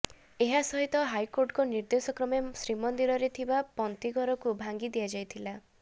ଏହାସହିତ ହାଇକୋର୍ଟଙ୍କ ନିର୍ଦ୍ଦେଶକ୍ରମେ ଶ୍ରୀମନ୍ଦିରରେ ଥିବା ପନ୍ତୀଘରକୁ ଭାଙ୍ଗି ଦିଆଯାଇଥିଲା